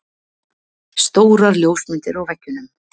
Stórar ljósmyndir á veggjunum.